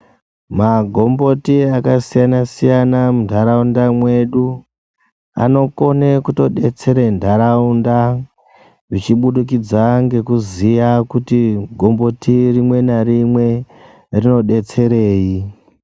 Magomboti akasiyana-siyana munharaunda mwedu, anokone kutodetsere nharaunda zvichibudikidza ngekuziya kuti gomboti rimwe narime rinobetserei.